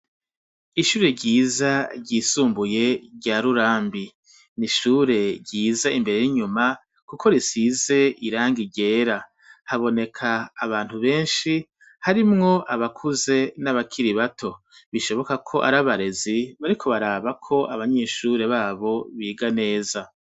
Ishure ryiza ry' isumbuye rya Rurambi .Ni ishure ryiza imbere n' inyuma , Kuko risize irangi ryera .Haboneka abantu benshi ,harimwo abakuze n' abakiri bato. Bishoboka ko arabarezi bariko baraba ko abanyeshure babo biga neza .